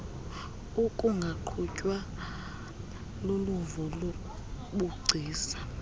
ukungaqhutywa luluvo lobugcisa